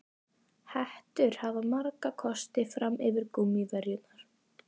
Hettur hafa marga kosti fram yfir gúmmíverjurnar.